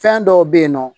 Fɛn dɔw bɛ yen nɔ